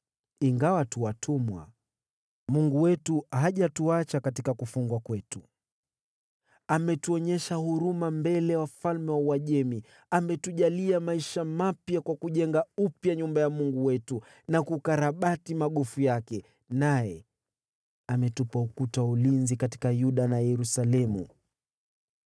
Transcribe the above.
Ingawa tu watumwa, Mungu wetu hajatuacha katika kufungwa kwetu. Ametuonyesha huruma mbele ya wafalme wa Uajemi: Ametujalia maisha mapya kwa kujenga upya nyumba ya Mungu wetu na kukarabati magofu yake, naye ametupa ukuta wa ulinzi katika Yuda na Yerusalemu.